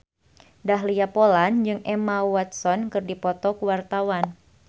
Dahlia Poland jeung Emma Watson keur dipoto ku wartawan